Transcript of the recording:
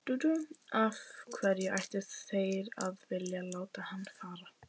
Af hverju ættu þeir að vilja láta hann fara?